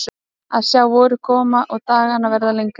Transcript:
Að sjá vorið koma og dagana verða lengri.